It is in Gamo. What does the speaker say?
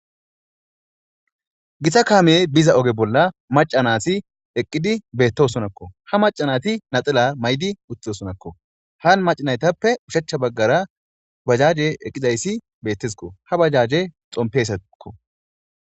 githa kaamiyey biza oge bolla macanati eqqidi beettosonakko ha macanati naxela may7di utosonakko haan macinaytappe ushachcha baggara bajaje eqqidayssi bettesiko ha bajaje xompesakko